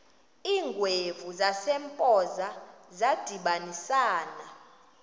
iingwevu zasempoza zadibanisana